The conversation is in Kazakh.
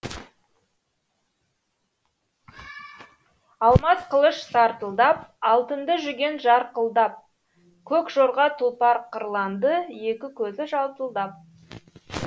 алмас қылыш сартылдап алтынды жүген жарқылдап көк жорға тұлпар қырланды екі көзі жалтылдап